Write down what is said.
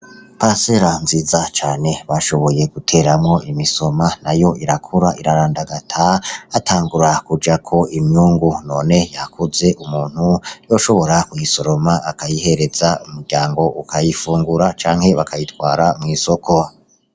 Pasela nziza cane bashoboye guteramwo imisoma na yo irakura irarandagata atangura kuja ko imyungu none yakuze umuntu yoshobora kw'isoroma akayihereza umuryango ukayifungura canke bakayitwara mw'isoko.